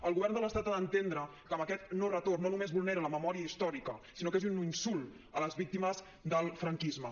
el govern de l’estat ha d’entendre que amb aquest no retorn no només vulnera la memòria històrica sinó que és un insult a les víctimes del franquisme